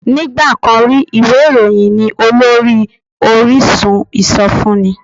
Nígbà kan rí, ìwé ìròyìn ni olórí orísun ìsọfúnni